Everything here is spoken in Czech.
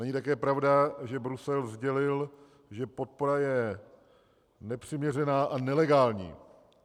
Není také pravda, že Brusel sdělil, že podpora je nepřiměřená a nelegální.